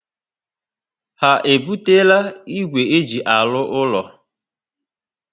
Ha ebutela ígwè e ji arụ úlọ